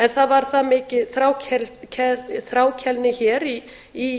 en það var það mikil þrákelkni hér í